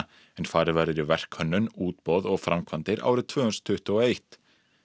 en farið verður í verkhönnun útboð og framkvæmdir árið tvö þúsund tuttugu og eitt